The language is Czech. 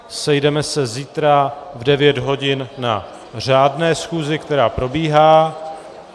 Sejdeme se zítra v devět hodin na řádné schůzi, která probíhá.